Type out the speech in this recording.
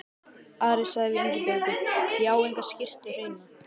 Ari sagði við Ingibjörgu: Ég á enga skyrtu hreina.